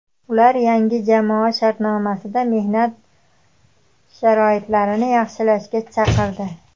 Ular yangi jamoa shartnomasida mehnat sharoitlarini yaxshilashga chaqirdi.